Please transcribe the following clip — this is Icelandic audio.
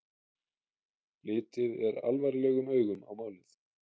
Litið er alvarlegum augum á málið